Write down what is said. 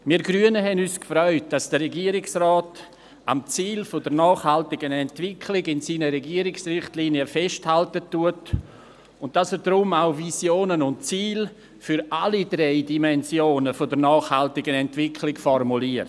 Wir Grünen haben uns gefreut, dass der Regierungsrat in seinen Regierungsrichtlinien am Ziel der nachhaltigen Entwicklung festhält und dass er deshalb auch Visionen und Ziele für alle drei Dimensionen der nachhaltigen Entwicklung formuliert.